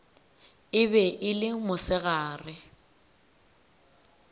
e be e le mosegare